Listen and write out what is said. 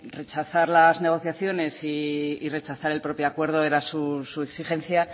rechazar las negociaciones y rechazar el propio acuerdo era su exigencia